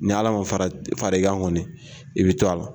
Ni ala ma fara i kan kɔni i bɛ to a la.